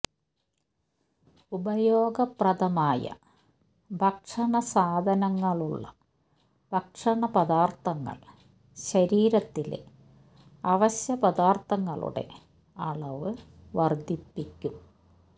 ഉപയോഗപ്രദമായ ഭക്ഷണസാധനങ്ങളുള്ള ഭക്ഷണ പദാർത്ഥങ്ങൾ ശരീരത്തിലെ അവശ്യ പദാർത്ഥങ്ങളുടെ അളവ് വർദ്ധിപ്പിക്കും